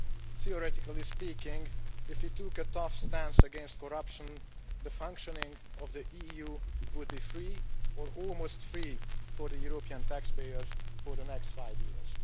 Theoretically speaking, if we took a tough stance against corruption, the functioning of the EU would be free or almost free for the European taxpayers for the next five years.